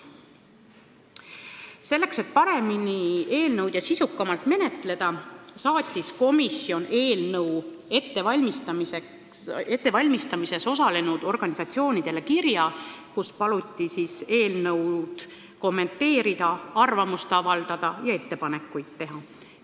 Selleks, et eelnõu paremini ja sisukamalt menetleda, saatis komisjon eelnõu ettevalmistamises osalenud organisatsioonidele kirja, kus paluti eelnõu kommenteerida, arvamust avaldada ja ettepanekuid teha.